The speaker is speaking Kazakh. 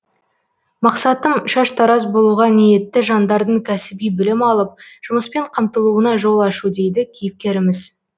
мақсатым шаштараз болуға ниетті жандардың кәсіби білім алып жұмыспен қамтылуына жол ашу дейді кейіпкеріміз